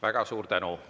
Väga suur tänu!